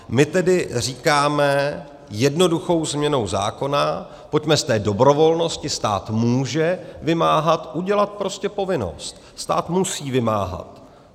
My tedy říkáme jednoduchou změnou zákona, pojďme z té dobrovolnosti, stát může vymáhat, udělat prostě povinnost, stát musí vymáhat.